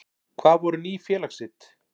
Hvað voru Ný félagsrit?